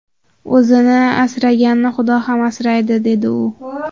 O‘zini asraganni Xudo ham asraydi”, dedi u.